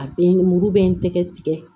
A bɛ muru bɛ n tɛgɛ tigɛ